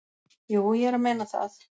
"""Jú, ég er að meina það."""